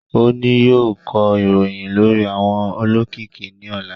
O ni yóò kọ ìròyìn lórí àwọn olókìkí ní ọ̀la